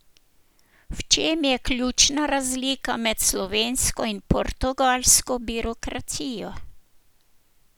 V čem je ključna razlika med slovensko in portugalsko birokracijo?